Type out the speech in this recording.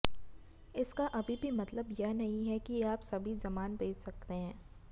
इसका अभी भी मतलब यह नहीं है कि आप सभी सामान बेच सकते हैं